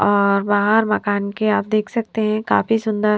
और बहार मकान के आप देख सकते है काफी सुंदर --